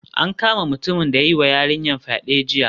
An kama mutumin da ya yiwa yarinyar fyade jiya